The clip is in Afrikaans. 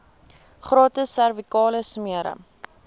gratis servikale smere